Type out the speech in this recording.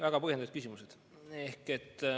Väga põhjendatud küsimused.